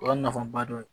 O y'a nafaba dɔ ye